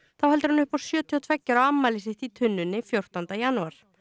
þá heldur hann upp á sjötíu og tveggja ára afmælið sitt í tunnunni fjórtánda janúar